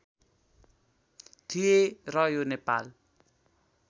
थिए र यो नेपाल